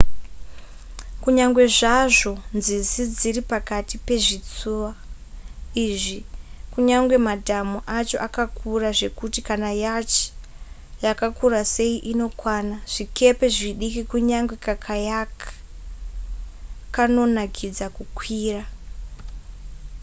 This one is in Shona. kunyange zvazvo nzizi dziri pakati pezvitsuwa izvi kunyange madhamu acho akakura zvekuti kana yacht yakakura sei inokwana zvikepe zvidiki kunyange kakayak kanonakidza kukwira